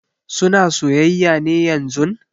Suna soyayya ne yanzun?